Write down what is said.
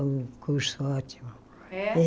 Um curso ótimo. É